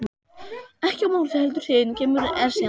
Ekki á morgun heldur hinn kemur Esjan.